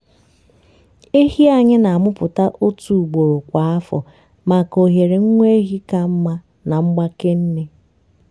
ehi anyị na-amụpụta otu ugboro kwa afọ maka ohere nwa ehi ka mma na mgbake nne.